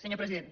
senyor president